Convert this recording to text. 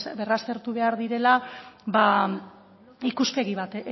berraztertu behar direla ikuspegi